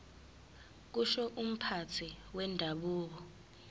kusho umphathi wendabuko